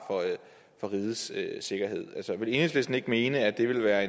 for rigets sikkerhed altså vil enhedslisten ikke mene at det vil være